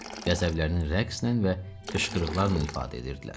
Qəzəblərinin rəqsnən və qışqırıqlarla ifadə edirdilər.